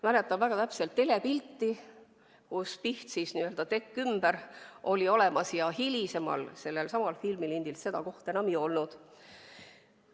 Mäletan väga täpselt telepilti, kus Piht, tekk ümber, oli olemas, aga hiljem sellelsamal filmilindil seda kohta enam ei olnud.